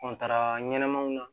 ɲɛnɛmaw na